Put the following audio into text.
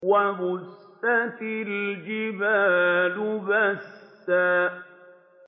وَبُسَّتِ الْجِبَالُ بَسًّا